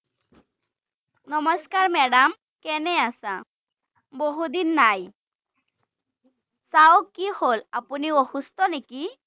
নমস্কাৰ, madam কেনে আছা? বহু দিন নাই৷ চাওঁ কি হ’ল, আপুনি অসুস্থ নেকি?